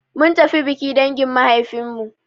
Mun tafi biki dangin mahaifin mu.